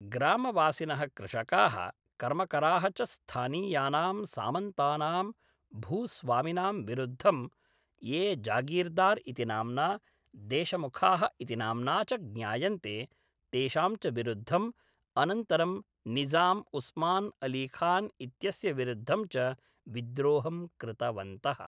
ग्रामवासिनः कृषकाः, कर्मकराः च स्थानीयानां सामन्तानां भूस्वामिनां विरुद्धं, ये जागीरदार् इति नाम्ना, देशमुखाः इति नाम्ना च ज्ञायन्ते, तेषां च विरुद्धम्, अनन्तरं निज़ाम् उस्मान् अलीखान् इत्यस्य विरुद्धं च विद्रोहं कृतवन्तः।